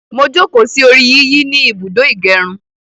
Mo jókòó sí orí yíyí ni ibùdó ìgẹrun